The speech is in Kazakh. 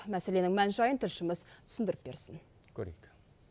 мәселенің мән жайын тілшіміз түсіндіріп берсін көрейік